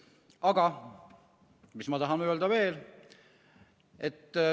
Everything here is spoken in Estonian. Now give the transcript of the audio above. Aga mida ma veel tahan öelda?